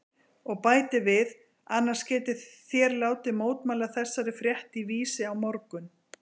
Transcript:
Og bætir við: Annars getið þér látið mótmæla þessari frétt í Vísi á morgun.